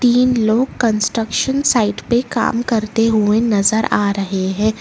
तीन लोग construction site पे काम करते हुए नजर आ रहे है।